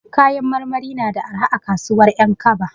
Kayan marmari na da arha a kasuwan 'Yankaba.